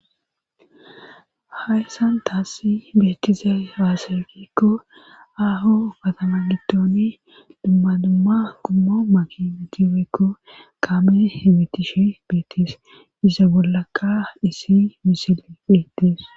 hayssan taassi beetizaybaaze gikokko aho katama littooni dumma dumma gummo makini gireekko kaame hibitishi beetis isa bollaka isi misili beettis